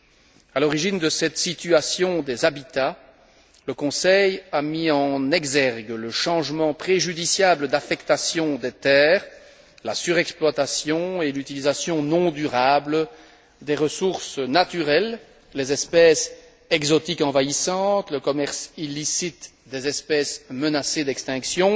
Concernant l'origine de cette situation des habitats, le Conseil a mis en exergue le changement préjudiciable d'affectation des terres, la surexploitation et l'utilisation non durable des ressources naturelles, les espèces exotiques envahissantes, le commerce illicite des espèces menacées d'extinction,